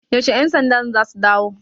Yaushe 'yansandan za su dawo?